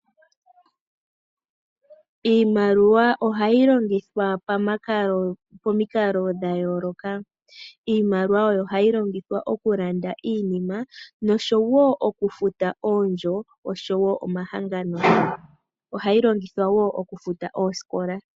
Iimaliwa ohayi longithwa pomikalo dhayooloka. Iimaliwa oyo hayi longithwa okulanda iinima nosho wo okufuta oondjo oshowo omahangano. Ohayi longithwa wo okufuta oosikola.